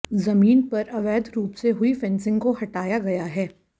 जमीन पर अवैध रूप से हुई फेंसिंग को हटाया गया है